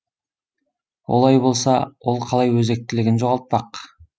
олай болса ол қалай өзектілігін жоғалтпақ